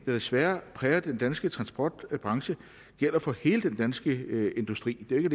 der desværre præger den danske transportbranche gælder for hele den danske industri ikke